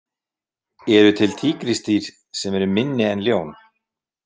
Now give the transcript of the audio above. Eru til tígrisdýr sem eru minni en ljón?